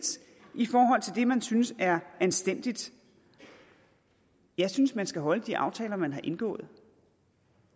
i forhold til det man synes er anstændigt jeg synes man skal holde de aftaler man har indgået